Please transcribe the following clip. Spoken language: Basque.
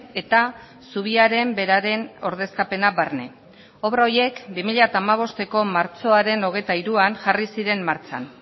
eta zubiaren beraren ordezkapena barne obra horiek bi mila hamabosteko martxoaren hogeita hiruan jarri ziren martxan